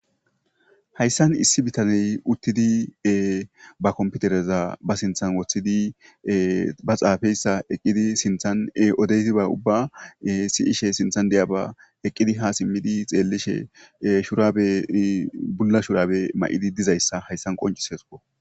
Hayssan issi bitaney uttidi bakomputereza basinthan woththidi ba xaafeyssa eqqidi sinthan odeysiba ubba si'ishe sinthan deyaba eqqidi hasimmidi xeellishe shurabe bulla shurabe ma'idi dizayssa hayssan qoncisesuo.